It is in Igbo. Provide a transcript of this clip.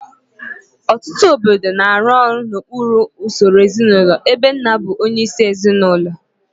Ọtụtụ obodo na-arụ ọrụ n'okpuru usoro ezinụlọ ebe nna bụ onyeisi ezinụlọ